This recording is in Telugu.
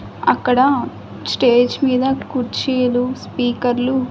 అక్కడ స్టేజ్ మీద కుర్చీలు స్పీకర్ లు.